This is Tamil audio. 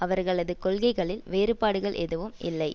அவர்களது கொள்கைகளில் வேறுபாடுகள் எதுவும் இல்லை